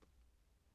TV 2